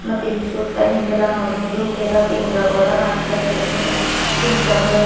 ಮತ್ತಿಲ್ಲಿ ಸತ್ತ ಹಿಂದೆಲ್ಲ ನೋಡ್ಬಹುದು ಕೆಲ ಪಿಂಜರಗೊಳಗ ಹಾಕಿಡಸಲಕ್ಕೆಲ್ಲ ಪಿಂಜರಗಳು --